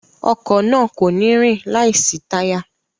Ọkọ̀ náà kò ní rìn láìsí táyà